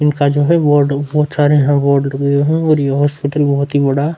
इनका जो है बोर्ड बहोत सारे यहाँ बोर्ड लगे हुए हैं और ये हॉस्पिटल बहोत ही बड़ा --